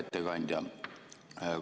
Hea ettekandja!